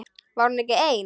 Var hún ekki ein?